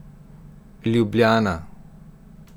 Ljubljana.